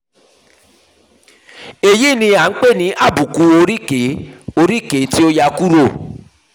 èyí ni a ń pè ní àbùkù oríkèé oríkèé tí ó yà kúrò